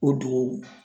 O dugu